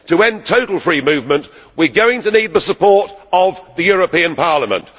To end total free movement we are going to need the support of the European Parliament.